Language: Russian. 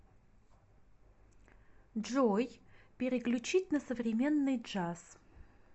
джой переключить на современный джаз